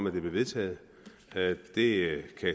at det blev vedtaget det